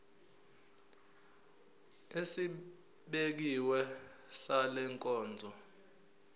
esibekiwe sale nkonzo